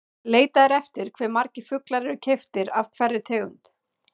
Leitað er eftir hve margir fuglar eru keyptir af hverri tegund.